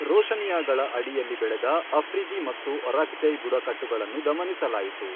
ರೋಶನಿಯಾಗಳ ಅಡಿಯಲ್ಲಿ ಬೆಳೆದ ಅಫ್ರಿದಿ ಮತ್ತು ಒರಾಕ್ಜೈ ಬುಡಕಟ್ಟುಗಳನ್ನು ದಮನಿಸಲಾಯಿತು.